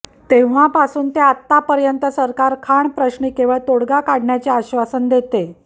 तेव्हापासून ते आत्तापर्यंत सरकार खाण प्रश्नी केवळ तोडगा काढण्याचे आश्वासन देते